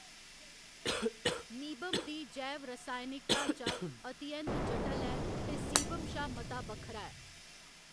Meibum दी जैव रासायनिक ढांचा अति ऐंत जटल ऐ ते सीबम शा मता बक्खरा ऐ।